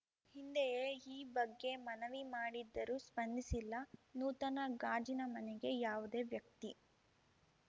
ಹಿಂದೆಯೇ ಈ ಬಗ್ಗೆ ಮನವಿ ಮಾಡಿದ್ದರೂ ಸ್ಪಂದಿಸಿಲ್ಲ ನೂತನ ಗಾಜಿನ ಮನೆಗೆ ಯಾವುದೇ ವ್ಯಕ್ತಿ